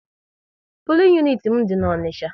Pulin uniti m dị n'Onicha